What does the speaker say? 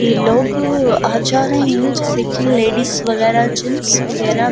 ये लोग आज जा रहे हैं जैसे कि लेडीज वगैरह जेन्स वगैरह --